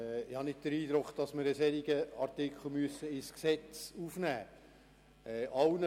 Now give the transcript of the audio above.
Ich habe nicht den Eindruck, dass wir einen solchen Artikel in das Gesetz aufnehmen müssen.